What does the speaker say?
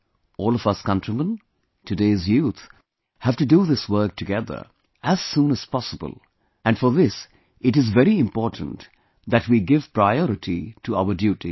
All of us countrymen, today's youth have to do this work together, as soon as possible and for this it is very important that we give priority to our duties